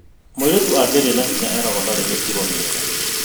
Mũirĩtu angĩaria na hinya eragwo ndarĩ mĩtugo mĩega